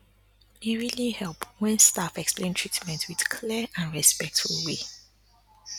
e really help when staff explain treatment with clear and respectful way